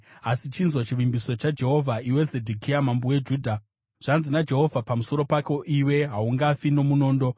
“ ‘Asi chinzwa chivimbiso chaJehovha, iwe Zedhekia mambo weJudha. Zvanzi naJehovha pamusoro pako iwe: Haungafi nomunondo;